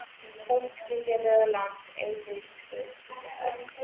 Þótt skilji lögur lönd, ei lýðs Guðs skilja höf.